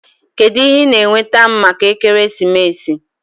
Kedu ihe ị na-enweta m maka ekeresimesi?